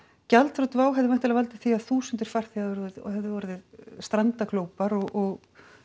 gjaldþrot Wow hefði valdið því að þúsundir farþega hefðu orðið strandaglópar og